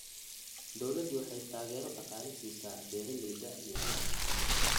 Dawladdu waxay taageero dhaqaale siisaa beeralayda yaryar.